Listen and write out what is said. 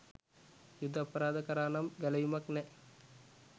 යුධ අපරාධ කරා නම් ගැලවීමක් නැ